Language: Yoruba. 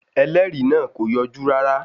Ẹlẹ́rìí náà kò yọjú rárá.